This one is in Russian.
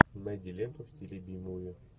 найди ленту в стиле би муви